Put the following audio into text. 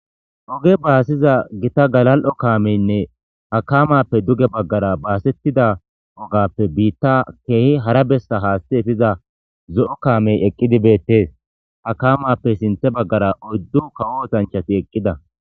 oge baasiza gita galal7o kaameynne hakamappe duge baggara baasettida ogappe biitta keehi hara bessa haasti efiza zo7o kaamey eqqidi beettees hakamappe sinthe baggara oyddu kawo ootanchati eqqida